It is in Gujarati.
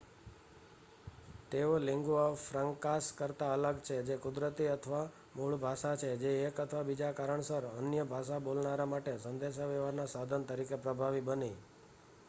તેઓ લીન્ગુઆ ફ્રાંકાસ કરતાં અલગ છે જે કુદરતી અથવા મૂળ ભાષા છે જે એક અથવા બીજા કારણસર અન્ય ભાષા બોલનારા માટે સંદેશ વ્યવહાર ના સાધન તરીકે પ્રભાવી બની